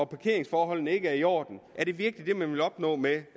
parkeringsforholdene ikke er i orden er det virkelig det man vil opnå med